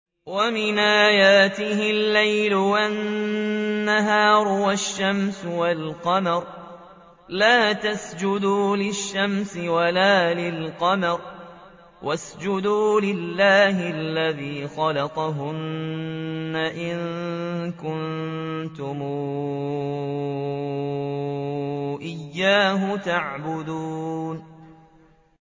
وَمِنْ آيَاتِهِ اللَّيْلُ وَالنَّهَارُ وَالشَّمْسُ وَالْقَمَرُ ۚ لَا تَسْجُدُوا لِلشَّمْسِ وَلَا لِلْقَمَرِ وَاسْجُدُوا لِلَّهِ الَّذِي خَلَقَهُنَّ إِن كُنتُمْ إِيَّاهُ تَعْبُدُونَ